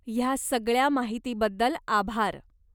ह्या सगळ्या माहितीबद्दल आभार.